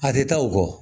A tɛ taa o kɔ